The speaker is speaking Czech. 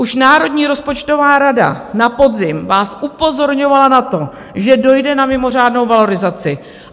Už Národní rozpočtová rada na podzim vás upozorňovala na to, že dojde na mimořádnou valorizaci.